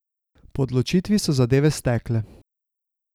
Po odločitvi so zadeve stekle.